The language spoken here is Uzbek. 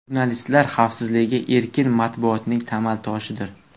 Jurnalistlar xavfsizligi erkin matbuotning tamal toshidir.